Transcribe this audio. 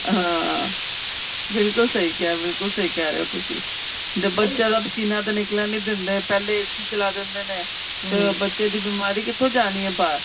ਹਾਂ ਬਿਲਕੁਲ ਸਹੀ ਕਿਹਾ ਬਿਲਕੁਲ ਸਹੀ ਕਹਿ ਰਹੇ ਓ ਤੁਸੀਂ ਜਦ ਬੱਚਿਆਂ ਦਾ ਸੀਨਾ ਤਾਂ ਨਿਕਲਣ ਨਹੀਂ ਦਿੰਦੇ ਪਹਿਲੇ AC ਚਲਾ ਦਿੰਦੇ ਨੇ ਬੱਚੇ ਦੀ ਬਿਮਾਰੀ ਕਿੱਥੋ ਜਾਣੀ ਏ ਬਾਹਰ